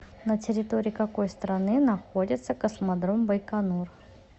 на территории какой страны находится космодром байконур